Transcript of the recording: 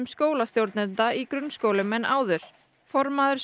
skólastjórnenda í grunnskólum en áður formaður